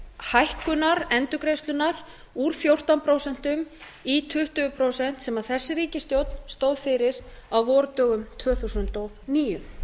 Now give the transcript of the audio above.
hækkunar endurgreiðslunnar úr fjórtán prósent í tuttugu prósent sem þessi ríkisstjórn stóð fyrir á vordögum tvö þúsund og níu